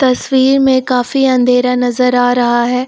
तस्वीर में काफी अंधेरा नजर आ रहा है।